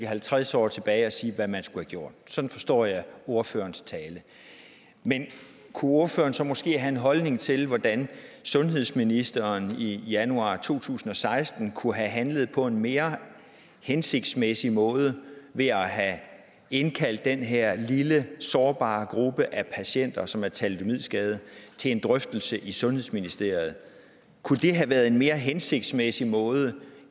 halvtreds år tilbage og sige hvad man skulle gjort sådan forstår jeg ordførerens tale men kunne ordføreren så måske have en holdning til hvordan sundhedsministeren i januar to tusind og seksten kunne have handlet på en mere hensigtsmæssig måde ved at have indkaldt den her lille sårbare gruppe af patienter som er thalidomidskadede til en drøftelse i sundhedsministeriet kunne det have været en mere hensigtsmæssig måde